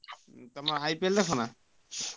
ତମେ IPL ଦେଖ ନା?